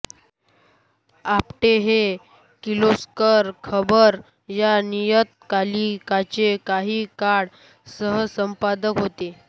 आपटे हे किर्लोस्कर खबर या नियतकालिकाचे काही काळ सहसंपादक होते